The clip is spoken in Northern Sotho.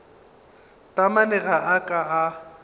taamane ga a ka a